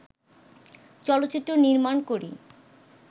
চলচ্চিত্র নির্মাণ করি